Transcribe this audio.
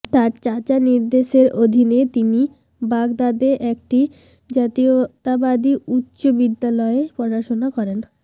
তার চাচা নির্দেশের অধীনে তিনি বাগদাদে একটি জাতীয়তাবাদী উচ্চ বিদ্যালয়ে পড়াশোনা করেন